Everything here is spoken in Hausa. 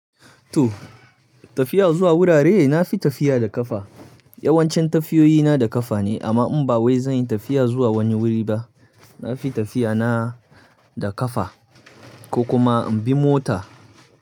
To tafiya zuwa wurare, na fi tafiya da ƙafa. Yawancin tafiyoyi na da ƙafa ne amma in ba wai zan yi tafiya zuwa wani wuri ba, na fi tafiya na da ƙafa ko kuma in bi mota.